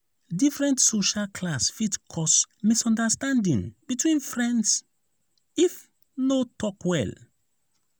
different social class fit cause misunderstanding between friends if no talk well.